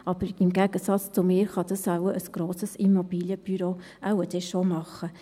Aber im Gegensatz zu mir, kann das ein grosses Immobilienbüro wohl dann schon machen.